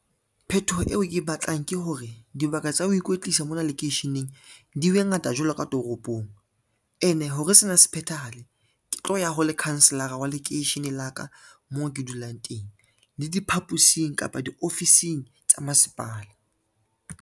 Phetoho eo ke e batlang ke hore, dibaka tsa ho ikwetlisa mona lekeisheneng di be ngata jwalo ka toropong ene hore sena se phethahale, ke tlo ya ho lekhanselara wa lekeisheneng la ka moo ke dulang teng le diphaposing kapa diofising tsa masepala.